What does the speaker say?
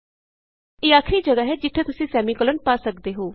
ਇਹ ਆਖਰੀ ਜਗਾ੍ਹ ਹੈ ਜਿਥੇ ਤੁਸੀਂ ਸੈਮੀਕੋਲਨ ਪਾ ਸਕਦੇ ਹੋ